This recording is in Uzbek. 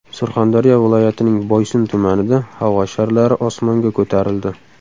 Surxondaryo viloyatining Boysun tumanida havo sharlari osmonga ko‘tarildi.